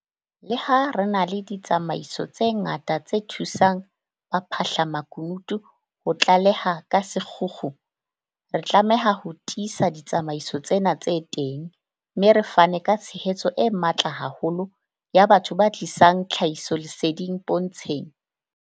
Leha re na le ditsamaiso tse ngata tse thusang ba phahlamakunutu ho tlaleha ka sekgukgu, re tlameha ho tiisa ditsamaiso tsena tse teng, mme re fane ka tshehetso e matla haholo ya batho ba tlisang tlhahisoleseding pontsheng.